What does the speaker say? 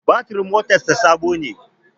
Batirin motar sa Sabo ne